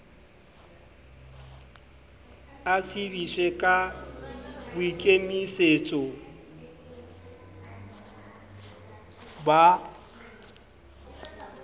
a tsebiswe ka boikemisetso ba